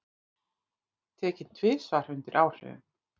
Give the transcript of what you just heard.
Tekinn tvisvar undir áhrifum